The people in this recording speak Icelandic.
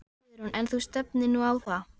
Guðrún: En þú stefnir nú á það?